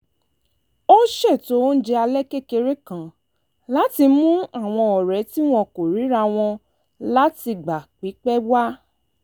ó ṣètò oúnjẹ alẹ́ kékeré kan láti mú àwọn ọ̀rẹ́ tí wọn kò ríra wọn látìgbà pípẹ́ wá